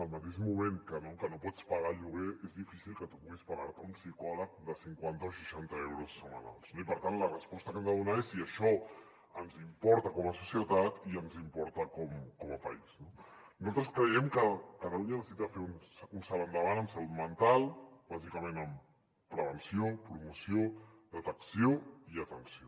al mateix moment que no pots pagar el lloguer és difícil que tu puguis pagar te un psicòleg de cinquanta o seixanta euros setmanals no i per tant la resposta que hem de donar és si això ens importa com a societat i ens importa com a país no nosaltres creiem que catalunya necessita fer un salt endavant en salut mental bàsicament en prevenció promoció detecció i atenció